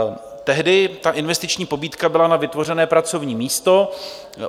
Tehdy ta investiční pobídka byla na vytvořené pracovní místo.